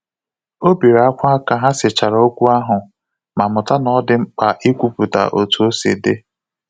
O bere akwa ka ha sechara okwu ahụ ma mụta na ọ dị mkpa ikwuputa otu osi di